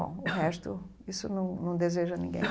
Bom O resto isso não não desejo a ninguém.